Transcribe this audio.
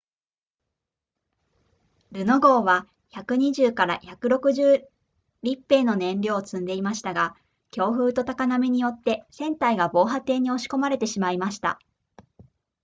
ルノ号は 120～160 立米の燃料を積んでいましたが強風と高波によって船体が防波堤に押し込まれてしまいました